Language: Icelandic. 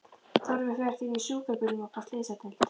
Þórður fer því með sjúkrabílnum upp á slysadeild.